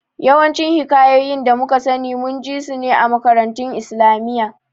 Yawancin Hikayoyin da muka sani mun ji sun ne a makarantun islamiyya